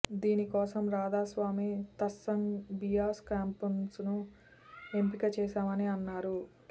దీనికోసం రాధాస్వామి సత్సంగ్ బియాస్ క్యాంపస్ను ఎంపిక చేశామని అన్నారు